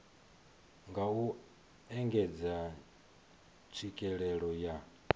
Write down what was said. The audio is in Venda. nga u engedza tswikelelo ya